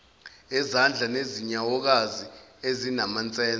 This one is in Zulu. ezandla nezinyawokazi ezinamansense